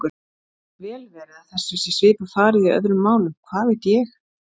Það getur vel verið að þessu sé svipað farið í öðrum málum, hvað veit ég?